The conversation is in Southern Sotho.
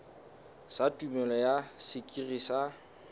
sa tumello ya sekiri sa